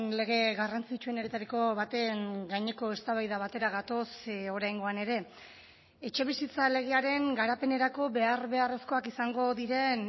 lege garrantzitsuenetariko baten gaineko eztabaida batera gatoz oraingoan ere etxebizitza legearen garapenerako behar beharrezkoak izango diren